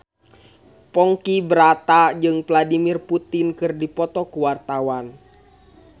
Ponky Brata jeung Vladimir Putin keur dipoto ku wartawan